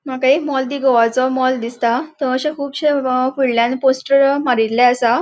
मका एक मॉल दि गोवाचो मॉल दिसता थय अशे कूबशे फुडल्यान पोस्टर मारिल्ले आसा.